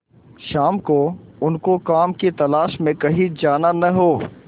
शाम को उनको काम की तलाश में कहीं जाना न हो